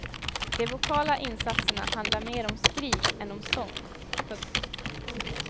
De vokala insatserna handlar mer om skrik än om sång. punkt